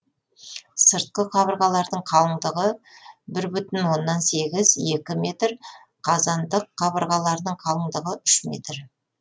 сыртқы қабырғаларының қалындығы бір бүтін оннан сегіз екі метр қазандық қабырғаларының қалындығы үш метр